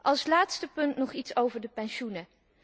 Als laatste punt nog iets over de pensioenen.